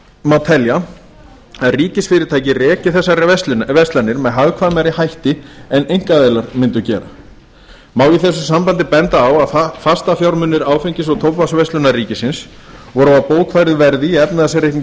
má telja að ríkisfyrirtæki reki þessar verslanir með hagkvæmari hætti en einkaaðilar mundu gera má í þessu sambandi benda á að fastafjármunir áfengis og tóbaksverslunar ríkisins voru á bókfærðu verði í efnahagsreikningi